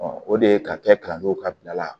o de ye ka kɛ kalanso ka bila la